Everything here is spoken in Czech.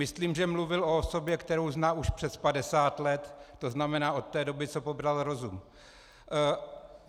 Myslím, že mluvil o osobě, kterou zná už přes 50 let, to znamená od té doby, co pobral rozum.